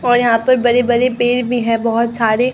और यहां पर बड़े बड़े पेड़ भी हैं बहोत सारे।